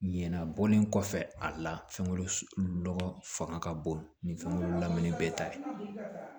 Ɲinan bɔlen kɔfɛ a la fɛnkolo lɔgɔ fanga ka bon nin fɛnko lamini bɛɛ ta ye